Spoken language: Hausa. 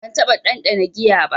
Ban taɓa ɗanɗana giya ba.